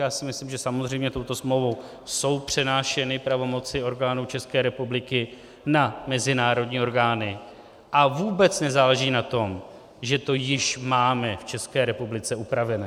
Já si myslím, že samozřejmě touto smlouvou jsou přenášeny pravomoci orgánů České republiky na mezinárodní orgány, a vůbec nezáleží na tom, že to již máme v České republice upraveno.